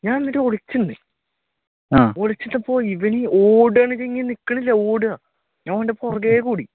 ഞാൻ എന്നിട്ട് ഒളിച്ചു നിന്ന് ഒളിച്ചപ്പോ ഇവൻ ഓടണ് ഞാൻ അവന്റെ പുറകെ ഓടി